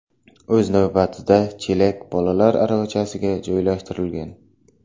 O‘z navbatida, chelak bolalar aravachasiga joylashtirilgan.